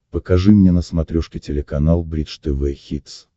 покажи мне на смотрешке телеканал бридж тв хитс